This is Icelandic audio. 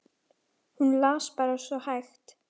Hún las bara svo hægt.